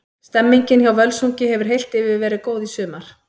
Stemmningin hjá Völsungi hefur heilt yfir verið góð í sumar.